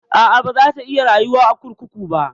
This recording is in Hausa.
A'a, baza ta iya rayuwa a kurkuku ba.